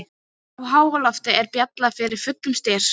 Á háaloftinu var beljað með fullum styrk